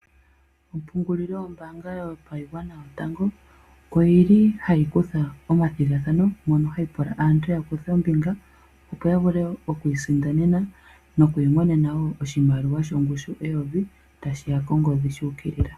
Ompungulilo yombaanga yopashigwana yotango oyi li hayi kutha omathigathanao mono hayi pula aantu ya kuthe ombinga opo ya vule oku isindanena noku imonena wo oshimaliwa shongushu yoondola eyovi tashi ya kongodhi sha ukilila.